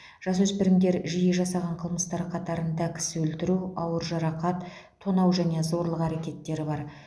жасөспірімдер жиі жасаған қылмыстар қатарында кісі өлтіру ауыр жарақат тонау және зорлық әрекеттері бар